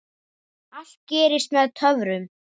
Allt gerist með töfrum.